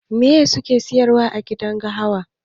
Mai suke siyarwa agidan gahawan?